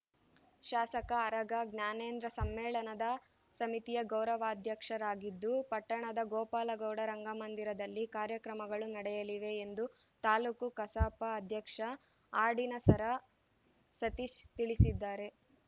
ಶಾಸಕ ಆರಗ ಜ್ಞಾನೇಂದ್ರ ಸಮ್ಮೇಳನದ ಸಮಿತಿಯ ಗೌರವಾಧ್ಯಕ್ಷರಾಗಿದ್ದು ಪಟ್ಟಣದ ಗೋಪಾಲಗೌಡ ರಂಗಮಂದಿರದಲ್ಲಿ ಕಾರ್ಯಕ್ರಮಗಳು ನಡೆಯಲಿವೆ ಎಂದು ತಾಲೂಕು ಕಸಾಪ ಅಧ್ಯಕ್ಷ ಆಡಿನಸರ ಸತೀಶ್‌ ತಿಳಿಸಿದ್ದಾರೆ